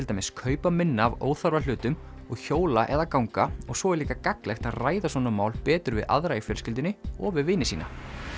dæmis kaupa minna af óþarfa hlutum og hjóla eða ganga og svo er líka gagnlegt að ræða svona mál betur við aðra í fjölskyldunni og við vini sína